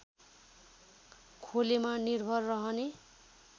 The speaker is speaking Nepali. खोलेमा निर्भर रहने